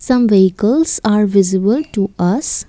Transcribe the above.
some vehicles are visible to us.